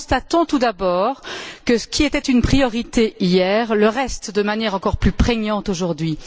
Constatons tout d'abord que ce qui était une priorité hier le reste de manière encore plus prégnante aujourd'hui.